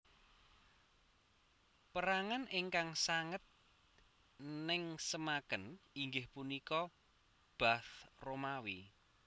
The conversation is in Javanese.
Perangan ingkang sanget nengsemaken inggih punika Bath Romawi